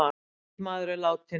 Einn maður er látinn